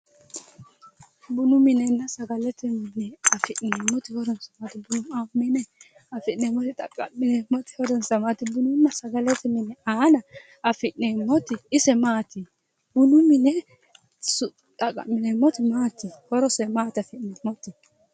Bunu minenna sagalete mine hasi'nuummore xaqa'mineemmowa bununna sagalete mini aana affi'neemmoti ise maati, bunu mine affi'neemmoti xaqa'mineemmoti maati horose maati affi'neemmoti?